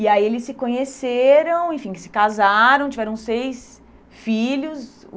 E aí eles se conheceram, enfim, se casaram, tiveram seis filhos.